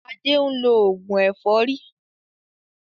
Adé ń lo oògùn ẹ̀fọ́rí